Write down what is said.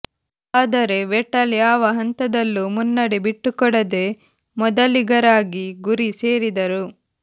ಆದರೆ ವೆಟಲ್ ಯಾವ ಹಂತದಲ್ಲೂ ಮುನ್ನಡೆ ಬಿಟ್ಟುಕೊಡದೆ ಮೊದಲಿಗರಾಗಿ ಗುರಿ ಸೇರಿದರು